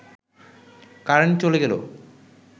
current চলে গেল